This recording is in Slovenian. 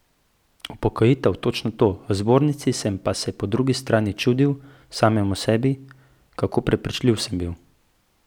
Upokojitev, točno to, v zbornici sem se pa po drugi strani čudil samemu sebi, kako prepričljiv sem bil.